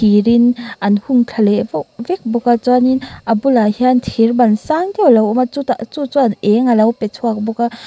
thir in an hung thla leh vek bawk a chuan in a bulah hian in thir ban sang deuh a lo awm a chutah chu chuan eng a lo pe chhuak bawk a.